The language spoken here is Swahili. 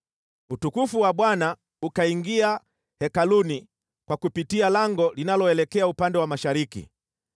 Utukufu wa Bwana ukaingia hekaluni kwa kupitia lango linaloelekea upande wa mashariki.